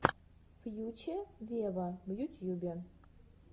фьюче вево в ютьюбе